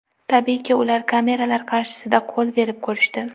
Tabiiyki, ular kameralar qarshisida qo‘l berib ko‘rishdi.